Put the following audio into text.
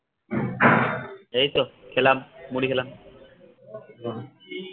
এই তো খেলাম মুড়ি খেলাম।